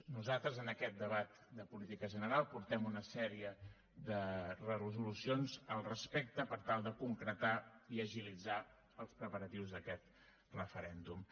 nosaltres en aquest debat de política general portem una sèrie de resolucions al respecte per tal de concretar i agilitzar els preparatius d’aquest referèndum